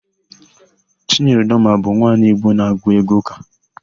Chinyere Udoma bụ nwaanyị Igbo na-agụ égwụ́ ụ́kà.